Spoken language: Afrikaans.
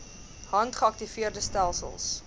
hand geaktiveerde stelsels